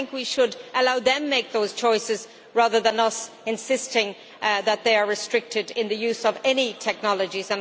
I think we should allow them to make those choices rather than us insisting that they are restricted in the use of any technologies